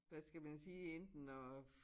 Hvad skal man sige enten at